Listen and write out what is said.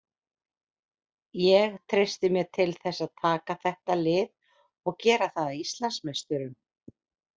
Ég treysti mér til þess að taka þetta lið og gera það að Íslandsmeisturum.